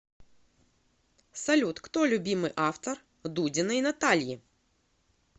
салют кто любимый автор дудиной натальи